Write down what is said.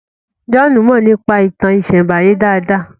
John Mo nípa ìtàn isembaye dá dá